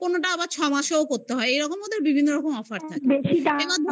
কোনটা আবার ছ মাসেও করতে হয়. এরকম ওদের বিভিন্ন রকম offer থাকে. হ্যাঁ